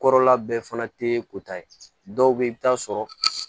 Kɔrɔla bɛɛ fana tɛ ko ta ye dɔw bɛ yen i bɛ taa sɔrɔ